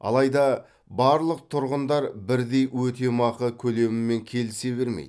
алайда барлық тұрғындар бірдей өтемақы көлемімен келісе бермейді